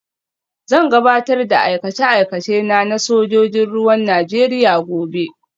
Zan gabatar da aikace-aikacena na sojojin ruwan Najeriya gobe